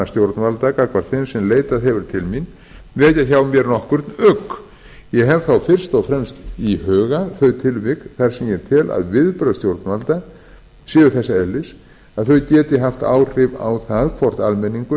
stjórnvalda gagnvart þeim sem leitað hefur til mín vekja hjá mér nokkurn ugg ég hef þá fyrst og fremst í huga þau tilvik þar sem ég tel að viðbrögð stjórnvalda séu þess eðlis að þau geti haft áhrif á það hvort almenningur